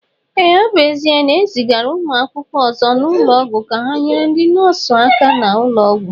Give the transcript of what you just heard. Ee, ọ bụ ezia na ezigara ụmụ akwụkwọ ọzọ n'ụlọọgwụ ka ha nyere ndi nọọsụ aka n'ulo Ọgwụ